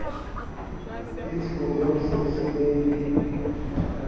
itshole ho se ho senyehile